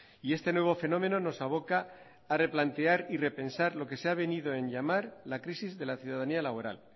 y este nuevo fenómeno nos aboca a replantear y repensar lo que se ha venido en llamar la crisis de la ciudadanía laboral